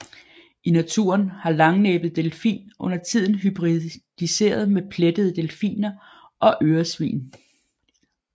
I naturen har langnæbbet delfin undertiden hybridiseret med plettede delfiner og øresvin